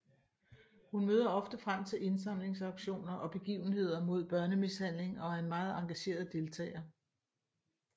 Hun møder ofte frem til indsamlingsauktioner og begivenheder mod børnemishandling og er en meget engageret deltager